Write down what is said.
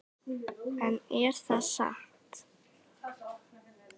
En er það satt?